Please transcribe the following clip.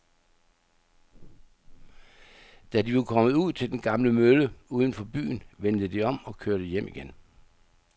Da de var kommet ud til den gamle mølle uden for byen, vendte de om og kørte hjem igen.